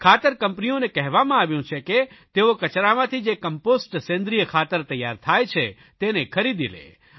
ખાતર કંપનીઓને કહેવામાં આવ્યું છે કે તેઓ કચરામાંથી જે કંમ્પોસ્ટ સેન્દ્રિય ખાતર તૈયાર થાય છે તેને ખરીદી લે